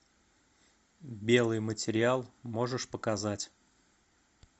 белый материал можешь показать